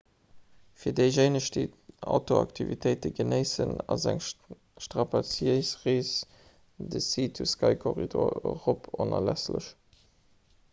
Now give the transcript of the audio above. fir déijéineg déi outdooraktivitéite genéissen ass eng strapaziéis rees de sea-to-sky-korridor erop onerlässlech